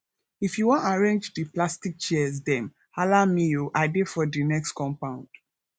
if you wan arrange di plastic chairs dem hala me o i dey for di next compound